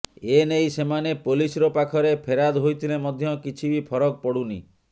ଏନେଇ ସେମାନେ ପୋଲିସର ପାଖରେ ଫେରାଦ୍ ହୋଇଥିଲେ ମଧ୍ୟ କିଛି ବି ଫରକ ପଡ଼ୁନି